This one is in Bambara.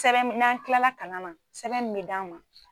Sɛbɛn n'an kilala kalan na sɛbɛn min d'an ma.